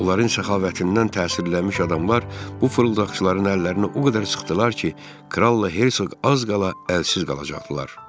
Onların səxavətindən təsirlənmiş adamlar bu fırıldaqçıların əllərini o qədər sıxdılar ki, kralla Herseq az qala əlsiz qalacaqdılar.